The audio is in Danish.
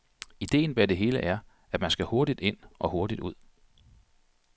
Idéen bag det hele er, at man skal hurtigt ind og hurtigt ud.